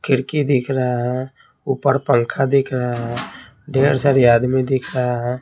खिड़की दिख रहा है ऊपर पंखा दिख रहा है ढेर सारी आदमी दिख रहा है।